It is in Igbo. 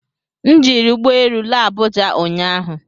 M jiri ụgbọ elu laa Abuja ụnyahụ